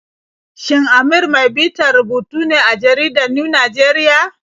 Shin Amir mai bitar rubutu ne a jaridar New Nigerian?